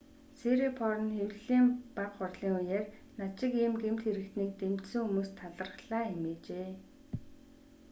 сирипорн хэвлэлийн бага хурлын үеэр над шиг ийм гэмт хэрэгтнийг дэмжсэн хүмүүст талархлаа хэмээжээ